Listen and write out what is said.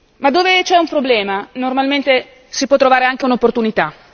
Ma dove c'è un problema, normalmente si può trovare anche un'opportunità.